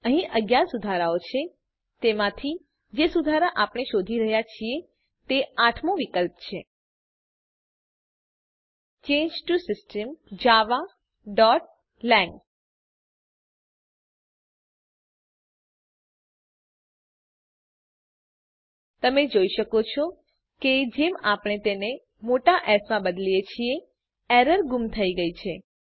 અહીં 11 સુધારાઓ છે તેમાંથી જે સુધાર આપણે શોધી રહ્યા છીએ તે આઠમો વિકલ્પ છે ચાંગે ટીઓ સિસ્ટમ javaલાંગ તમે જોઈ શકો છો કે જેમ આપણે તેને મોટા એસ માં બદલીએ છીએ એરર ગુમ થઇ ગયી છે